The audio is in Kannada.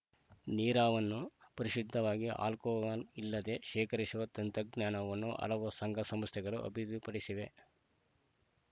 ನೀರಾವನ್ನು ಪರಿಶುದ್ಧವಾಗಿ ಅಲ್ಕೋಹಾಲ್‌ ಇಲ್ಲದೇ ಶೇಖರಿಸುವ ತಂತ್ರಜ್ಞಾನವನ್ನು ಹಲವು ಸಂಘ ಸಂಸ್ಥೆಗಳು ಅಭಿವಿಪಡಿಸಿವೆ